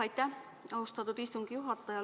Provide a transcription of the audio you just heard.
Aitäh, austatud istungi juhataja!